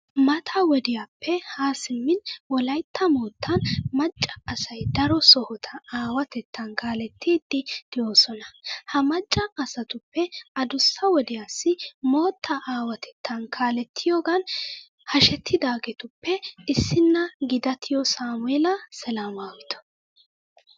Mata wodiyappe Haa simmin wolaytta moottan macca asay daro sohota aawatettan kaalettiiddi de'oosona. Ha macca asatuppe adussa wodiyassi moottaa aawatettan kaalettiyogan hashetidaageetuppe issinna gidattiyo saamu'eela selemaawito.